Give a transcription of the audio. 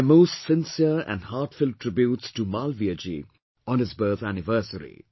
My most sincere and heartfelt tributes to Malviyaji on his birth anniversary